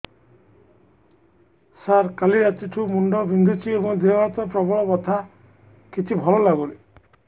ସାର କାଲି ରାତିଠୁ ମୁଣ୍ଡ ବିନ୍ଧୁଛି ଏବଂ ଦେହ ହାତ ପ୍ରବଳ ବଥା କିଛି ଭଲ ଲାଗୁନି